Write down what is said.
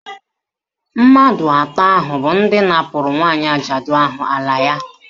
Mmadụ atọ ahụ bụ ndị napụrụ nwaanyị ajadu ahụ ala ya